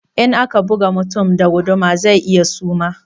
In aka buga mutum da guduma zai iya suma